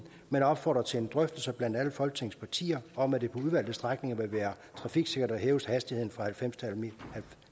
men opfordrer til en drøftelse blandt alle folketingets partier om at det på udvalgte strækninger vil være trafiksikkert at hæve hastigheden fra